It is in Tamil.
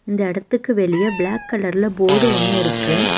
இந்த எடத்துக்கு வெளிய பிளாக் கலர்ல போடு ஒன்னு இருக்கு.